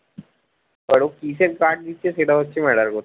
এবার ও কিসের guard দিচ্ছে সেটা হচ্ছে matter করছে